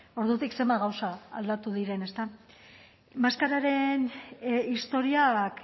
ordutik zenbat gauza aldatu diren ezta maskararen historiak